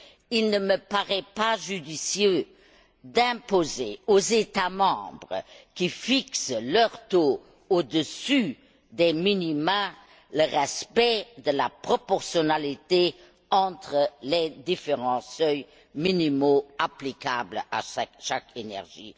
Il ne me paraît pas judicieux d'imposer aux États membres qui fixent leurs taux au dessus des minima le respect de la proportionnalité entre les différents seuils minimaux applicables à chaque énergie.